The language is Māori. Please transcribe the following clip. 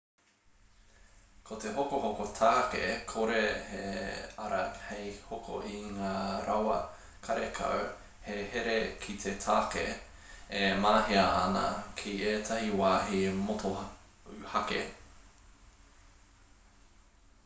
ko te hokohoko tāke kore he ara hei hoko i ngā rawa karekau he here ki te tāka e mahia ana ki ētahi wāhi motuhake